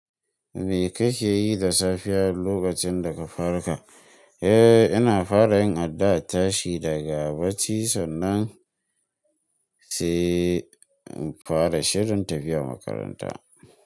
Me kake yi da safiya lokacin da ka farka? Ina fara yin addu'a, tashi daga bacci, sannan sai in fara shirin tafiya makaranta.